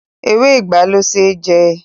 Ewé ìgbá le ṣe jẹ.